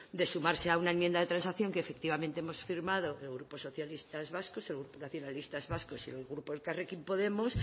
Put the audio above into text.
de sumarse a una enmienda de transacción que efectivamente hemos firmado el grupo socialistas vascos el grupo nacionalistas vascos y el grupo elkarrekin podemos